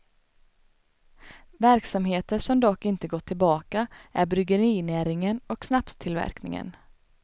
Verksamheter som dock inte gått tillbaka är bryggerinäringen och snapstillverkningen.